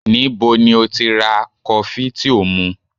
Níbo ni ó ti ra kọfí tí ò ń mu?